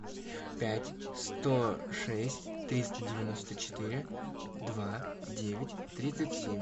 пять сто шесть триста девяносто четыре два девять тридцать семь